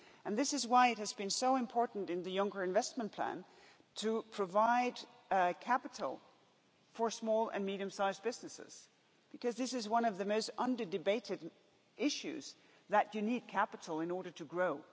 This is why it has been so important in the Juncker investment plan to provide capital for small and medium-sized businesses, because this is one of the most under-debated issues, that you need capital in order to grow.